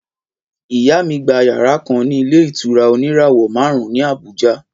Ìyá mí gbà yàrá kan ni ìlé ìtura òní ìràwọ màrún ní àbújá